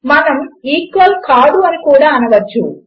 మనము ఈక్వల్ కాదు అని కూడ అనవచ్చు